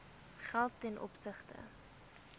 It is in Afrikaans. geld ten opsigte